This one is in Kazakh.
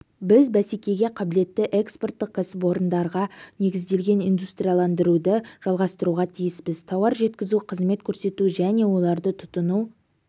біз бәсекеге қабілетті экспорттық кәсіпорындарға негізделген индустрияландыруды жалғастыруға тиіспіз тауар жеткізу қызмет көрсету және оларды тұтыну